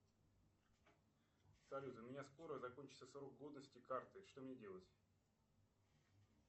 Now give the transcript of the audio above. салют у меня скоро закончится срок годности карты что мне делать